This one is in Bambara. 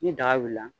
Ni daga wulila la